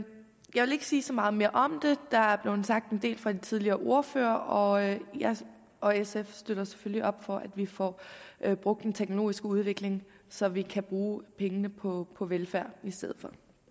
jeg vil ikke sige så meget mere om det der er blevet sagt en del fra de tidligere ordførere og jeg jeg og sf støtter selvfølgelig op om at vi får brugt den teknologiske udvikling så vi kan bruge pengene på på velfærd i stedet